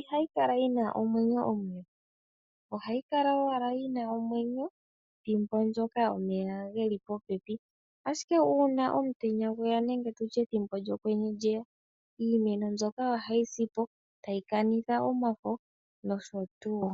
ihayi kala yina omwenyo omule. Ohayi kala owala yina omwenyo thimbo ndyoka omeya geli popepi, ashike uuna omutenya gweya nenge tutye ethimbo lyokwenye lyeya, iimeno mbyoka ohayi si po, tayi kanitha omafo nosho tuu.